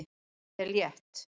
Ég er létt.